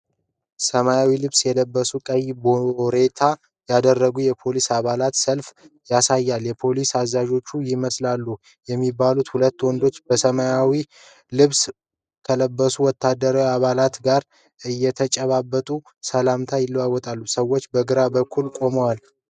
ሰማያዊ ልብስ የለበሱና ቀይ ባሬታ ያደረጉ የፖሊስ አባላትን ሰልፍ ያሳያል። የፖሊስ አዛዦች ይመስላሉ የሚባሉ ሁለት ወንዶች በሰማያዊ ልብስ ከለበሱት ወታደራዊ አባላት ጋር እየተጨባበጡ ሰላምታ ይሰጣሉ። ሰዎቹ በግቢው ውስጥ ቆመዋል።